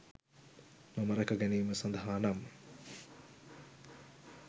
මම රැක ගැනීම සඳහානම්